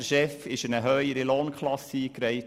Der Chef wurde in eine höhere Lohnklasse eingereiht.